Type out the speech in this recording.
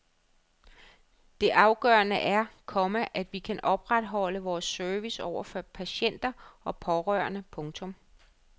Det afgørende er, komma at vi kan opretholde vores service over for patienter og pårørende. punktum